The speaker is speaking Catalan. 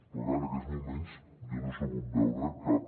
però clar en aquests moments jo no he sabut veure cap